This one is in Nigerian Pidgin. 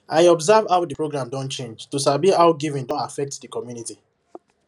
i observe how the program don change to sabi how giving don affect the community